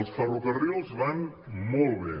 els ferrocarrils van molt bé